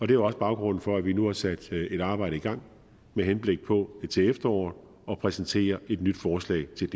det er også baggrunden for at vi nu har sat et arbejde i gang med henblik på til efteråret præsentere et nyt forslag til